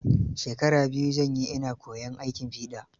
Shekara biyu zan yi ina koyan aikin fiɗa.